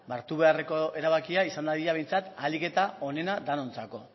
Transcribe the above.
ba hartu beharreko erabakia izan dadila behintzat ahalik eta onena denontzako